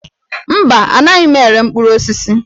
Mba, anaghị m ere mkpụrụ osisi